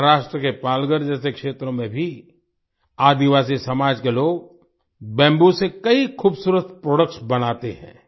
महाराष्ट्र के पालघर जैसे क्षेत्रों में भी आदिवासी समाज के लोग बैम्बू से कई खुबसूरत प्रोडक्ट्स बनाते हैं